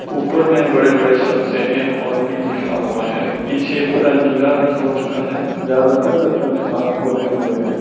ऊपर में बड़े बड़े शब्द से एम और पी लिखा हुआ है पीछे पूरा नीला रंग हो चुका है ज्यादातर बच्चों ने हाथ खोले हुए हैं।